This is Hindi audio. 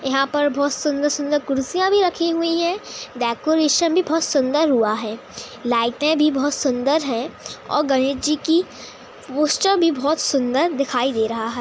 यहां पर बहुत सुंदर-सुंदर कुर्सियां भी रखी हुई है। डेकोरेशन भी बहुत सुंदर हुआ है लाइटें भी बहुत सुंदर है और गणेश जी की पोस्टर भी बहुत सुंदर दिखाई दे रहा है।